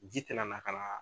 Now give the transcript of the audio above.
Ji tɛna na ka na